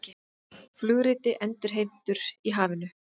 Flugriti endurheimtur í hafinu